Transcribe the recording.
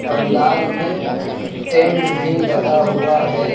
पंडाल में टेंट भी लगा हुआ है।